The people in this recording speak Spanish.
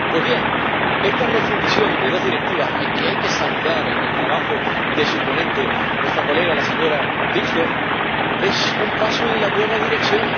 Pues bien, esta refundición de dos Directivas, que hay que saludar gracias al trabajo de su ponente, nuestra colega la señora Wikström, es un paso en la buena dirección.